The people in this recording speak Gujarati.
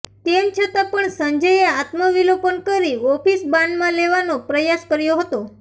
તેમ છતાં પણ સંજયે આત્મ વિલોપન કરી ઓફિસ બાનમાં લેવાનો પ્રયાસ કર્યો હતો